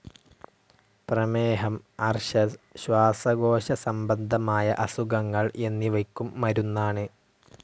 പ്രമേഹം, അർശസ്, ശ്വാസകോശസംബന്ധമായ അസുഖങ്ങൾ എന്നിവയ്ക്കും മരുന്നാണ്.